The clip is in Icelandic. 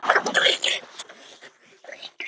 Ert þú blönk?